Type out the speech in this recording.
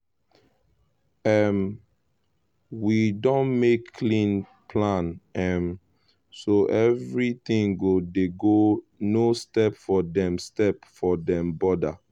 um we don make clean plan um so everything go dey okay no step for dem step for dem border.